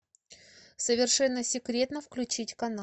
совершенно секретно включить канал